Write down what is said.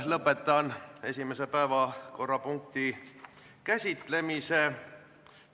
Lõpetan esimese päevakorrapunkti käsitlemise.